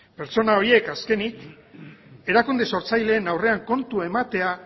pertsona horiek azkenik erakunde sortzaileen aurrean kontu ematea